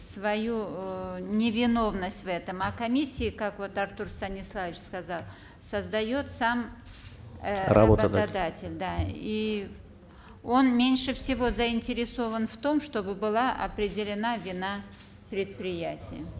свою э невиновность в этом а комиссии как вот артур станиславович сказал создает сам э работодатель да и он меньше всего заинтересован в том чтобы была определена вина предприятия